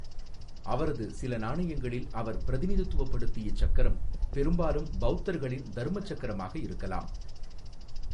அவரது சில நாணயங்களில் அவர் பிரதிநிதித்துவப்படுத்திய சக்கரம் பெரும்பாலும் பௌத்தர்களின் தர்மச்சக்கரமாக இருக்கலாம்.